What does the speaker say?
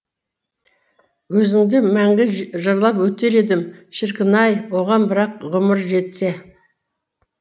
өзіңді мәңгі жырлап өтер едім шіркін ай оған бірақ ғұмыр жетсе